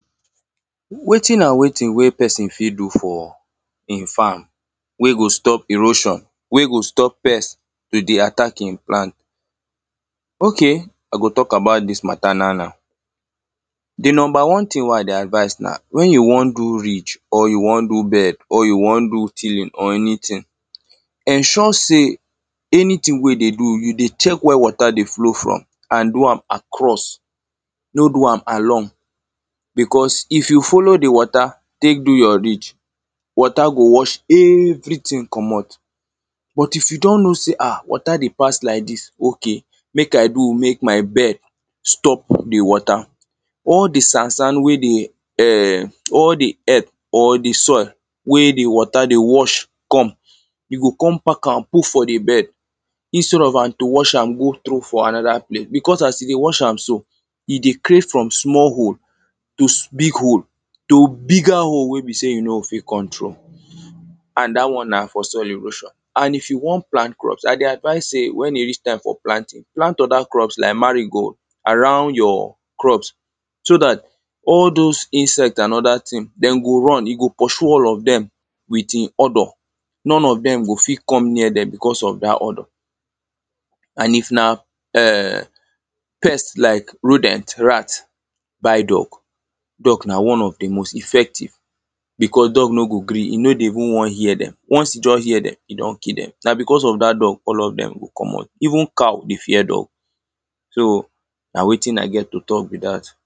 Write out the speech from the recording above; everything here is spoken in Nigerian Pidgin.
Wetin and wetin wey person fit do for im farm wey go stop erosion, wey go stop pest to dey attack im plant? Okay, I go talk about dis mata now, now. The number one thing wey I dey advise na when you wan do ridge, or you wan do bed or you wan do tilling, or anything, ensure say anything wey you dey do, you dey check where water dey flow from, and do am across no do am along. because if you follow the water tek do your ridge, water go wash everything commot. But, if you don know say, ah, water dey pass lak dis, okay, 'mek I do mek my bed stop the water' All the sand, sand wey the um, all the earth or the soil wey the water dey wash come you go come pack am put for the bed. Instead of am to wash am go throw for another place, because as you dey wash am so, e dey clear from small hole to big hole, to bigger hole wey be say, you no go fit control. And dat one na for soil erosion, and if you wan plant crops, I dey advise say when e reach time for planting, plant other crops lak mango around your crops, so dat all those insect and other thing, them go run, e go pursue all of them, with im odour. None of them go fit come near them because of dat odour. And if na eh... pest lak rodent, rat, buy dog. Dog na one of the most effective because dog no go gree, e no go even wan hear them. Once e just hear them, e don kill them. Na because of dat dog all of them go commot. Even cow dey fear dog. So, na wetin I get to talk be dat.